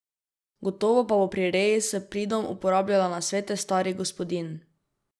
Gotovo pa bo pri reji s pridom uporabljala nasvete starih gospodinj.